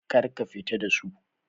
Kar ka fita da su!